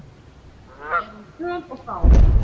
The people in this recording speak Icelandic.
Eða er hún föl og fá?